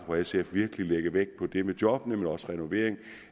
fra sf virkelig lægge vægt på det med jobbene men også på renoveringen